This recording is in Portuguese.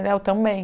Ele ah, eu também.